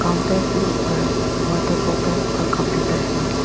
Counter के ऊपर water bottle और कंप्यूटर है।